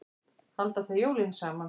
Halda þau jólin saman?